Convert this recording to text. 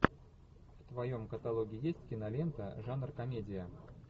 в твоем каталоге есть кинолента жанр комедия